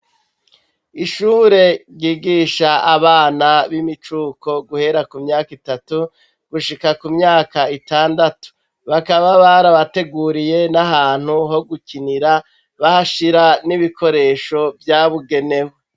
Ishure ryigisha abana b'imicuko guhera ku myaka itatu gushika ku myaka itandatu. Bakaba barabateguriye n'ahantu gukinira bahashira n'ibikoresho vyabigenewe.